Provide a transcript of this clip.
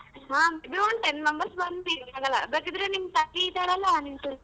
ಹಾ ten members ಬಂದ್ ಬೇಕಿದರೆ ನಿಮ್ ತಂಗಿ ಇದಳಲ್ಲ .